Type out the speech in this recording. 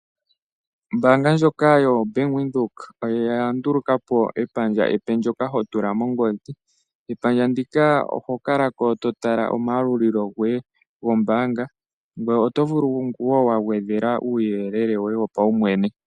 Ombaanga ndjoka yo Bank widhoek oyandulukapo epandja epe ndoka hotula mongodhi. Epandja ndika ohokalako totala omayalulilo goye kombaanga ,otovulu woo wagwedhela uuyelele woye wopaumwene.